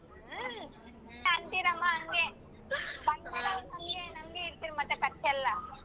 ಹ್ಮ ಅಂತಿರಮ್ಮ ಹಂಗೆ. ಬಂದ್ ಮೇಲ್ ಮತ್ ನಂಗೆ ನಂಗೆ ಹೇಳ್ತಿರ್ ಖರ್ಚೆಲ್ಲ.